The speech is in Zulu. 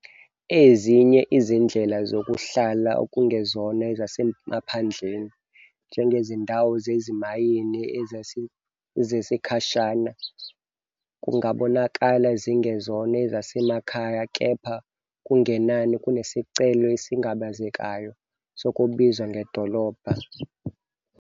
Ezinye izindlela zokuhlala okungezona ezasemaphandleni, njengezindawo zezimayini zesikhashana, kungabonakala zingezona ezasemakhaya, kepha okungenani kunesicelo esingabazekayo sokubizwa ngedolobha.